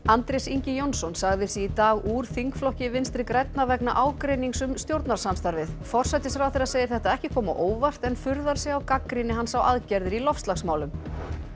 Andrés Ingi Jónsson sagði sig í dag úr þingflokki Vinstri grænna vegna ágreinings um stjórnarsamstarfið forsætisráðherra segir þetta ekki koma á óvart en furðar sig á gagnrýni hans á aðgerðir í loftslagsmálum